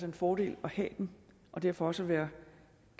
en fordel at have dem og derfor også være